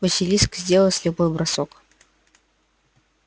василиск сделал слепой бросок